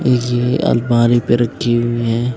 ये अलमारी पे रखी हुई हैं।